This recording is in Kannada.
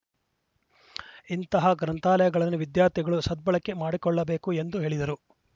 ಇಂತಹ ಗ್ರಂಥಾಲಯಗಳನ್ನು ವಿದ್ಯಾರ್ಥಿಗಳು ಸದ್ಬಳಕೆ ಮಾಡಿಕೊಳ್ಳಬೇಕು ಎಂದು ಹೇಳಿದರು